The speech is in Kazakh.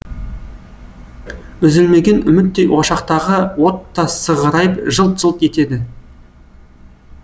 үзілмеген үміттей ошақтағы от та сығырайып жылт жылт етеді